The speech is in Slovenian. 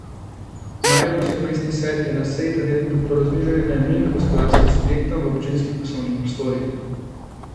Mariborski mestni svet je na seji ta teden podprl znižanje najemnin gospodarskim subjektom v občinskih poslovnih prostorih.